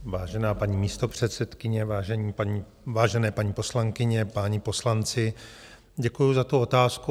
Vážená paní místopředsedkyně, vážené paní poslankyně, páni poslanci, děkuju za tu otázku.